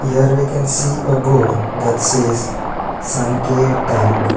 Here we can see a board that says sankey tank.